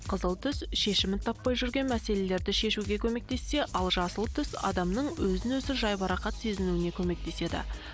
қызыл түс шешімін табалмай жүрген мәселелерді шешуге көмектессе ал жасыл түс адамның өзін өзі жай бір рахат сезінуіне көмектеседі